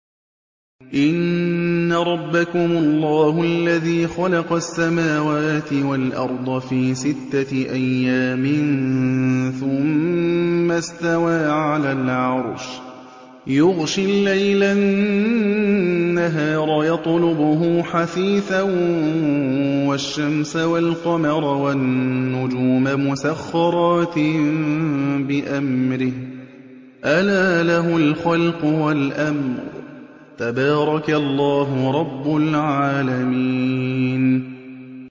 إِنَّ رَبَّكُمُ اللَّهُ الَّذِي خَلَقَ السَّمَاوَاتِ وَالْأَرْضَ فِي سِتَّةِ أَيَّامٍ ثُمَّ اسْتَوَىٰ عَلَى الْعَرْشِ يُغْشِي اللَّيْلَ النَّهَارَ يَطْلُبُهُ حَثِيثًا وَالشَّمْسَ وَالْقَمَرَ وَالنُّجُومَ مُسَخَّرَاتٍ بِأَمْرِهِ ۗ أَلَا لَهُ الْخَلْقُ وَالْأَمْرُ ۗ تَبَارَكَ اللَّهُ رَبُّ الْعَالَمِينَ